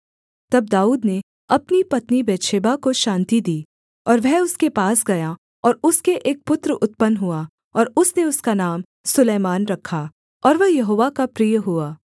तब दाऊद ने अपनी पत्नी बतशेबा को शान्ति दी और वह उसके पास गया और उसके एक पुत्र उत्पन्न हुआ और उसने उसका नाम सुलैमान रखा और वह यहोवा का प्रिय हुआ